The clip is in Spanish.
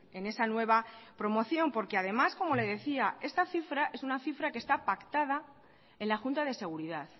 en esa nueva promoción porque además como le decía esta cifra es una cifra que está pactada en la junta de seguridad